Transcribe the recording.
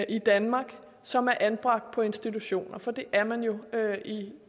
i danmark som er anbragt på institutioner for det er man jo